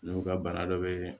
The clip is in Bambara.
N'u ka bana dɔ be